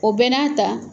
O bɛɛ n'a ta